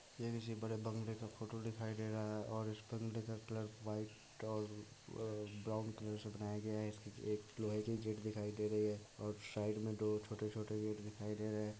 ये किसी बड़े बगले का फोटो दिखाई दे रहा है और इस बगले का कलर वाइट और ब्राउन कलर से बनाया गया है एक लोहे की गेट दिखाई दे रही है औए साइड में दो छोटे-छोटे--